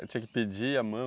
Tinha que pedir a mão?